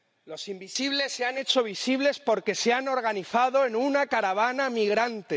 Los invisibles se han hecho visibles porque se han organizado en una caravana migrante